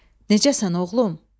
Necəsən oğlum?